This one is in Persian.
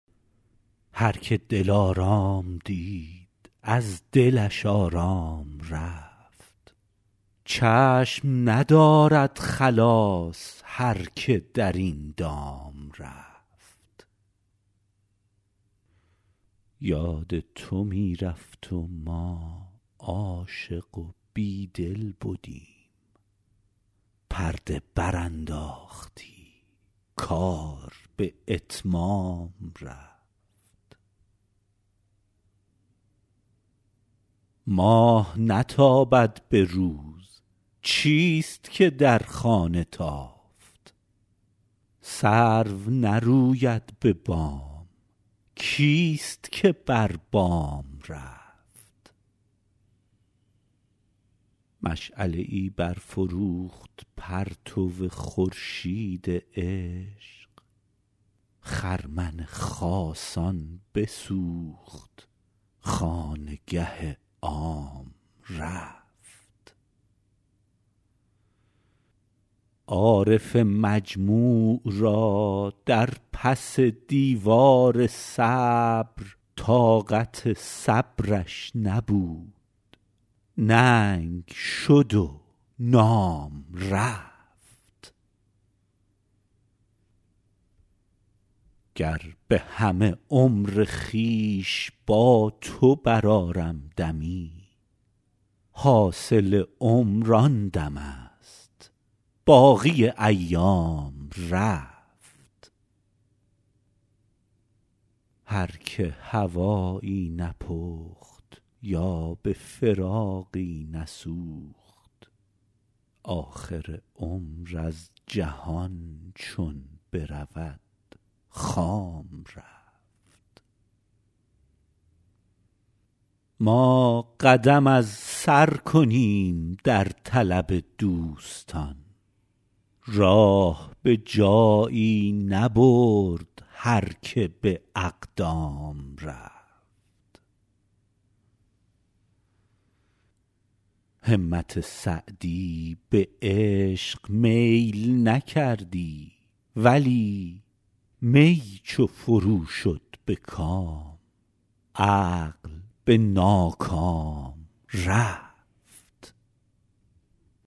هر که دلارام دید از دلش آرام رفت چشم ندارد خلاص هر که در این دام رفت یاد تو می رفت و ما عاشق و بیدل بدیم پرده برانداختی کار به اتمام رفت ماه نتابد به روز چیست که در خانه تافت سرو نروید به بام کیست که بر بام رفت مشعله ای برفروخت پرتو خورشید عشق خرمن خاصان بسوخت خانگه عام رفت عارف مجموع را در پس دیوار صبر طاقت صبرش نبود ننگ شد و نام رفت گر به همه عمر خویش با تو برآرم دمی حاصل عمر آن دمست باقی ایام رفت هر که هوایی نپخت یا به فراقی نسوخت آخر عمر از جهان چون برود خام رفت ما قدم از سر کنیم در طلب دوستان راه به جایی نبرد هر که به اقدام رفت همت سعدی به عشق میل نکردی ولی می چو فرو شد به کام عقل به ناکام رفت